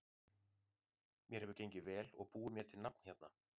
Mér hefur gengið vel og búið mér til nafn hérna.